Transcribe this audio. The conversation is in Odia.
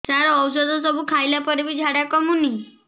ସାର ଔଷଧ ସବୁ ଖାଇଲା ପରେ ବି ଝାଡା କମୁନି